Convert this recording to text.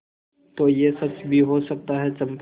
तो यह सच भी हो सकता है चंपा